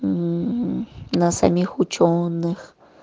мм на самих учёных